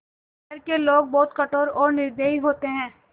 शहर के लोग बहुत कठोर और निर्दयी होते हैं